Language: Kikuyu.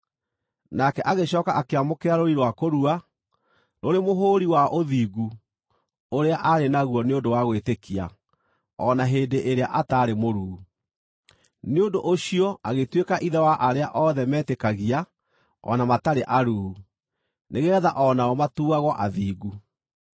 Nake agĩcooka akĩamũkĩra rũũri rwa kũrua, rũrĩ mũhũri wa ũthingu ũrĩa aarĩ naguo nĩ ũndũ wa gwĩtĩkia o na hĩndĩ ĩrĩa ataarĩ mũruu. Nĩ ũndũ ũcio agĩtuĩka ithe wa arĩa othe metĩkagia o na matarĩ aruu, nĩgeetha o nao matuuagwo athingu.